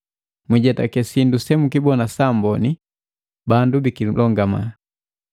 Mwiijetake sindu semukibona saamboni bandu bikilongama.